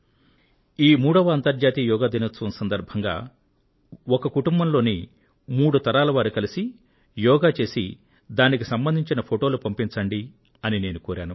ఈ మూడవ అంతర్జాతీయ యోగా దినోత్సవం సందర్భంగా ఒక కుటుంబంలోని మూడు తరాల వారు కలిసి యోగ చేసి దానికి సంబంధించిన ఫొటోలు పంపించండి అని నేను కోరాను